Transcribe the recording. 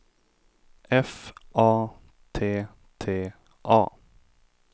F A T T A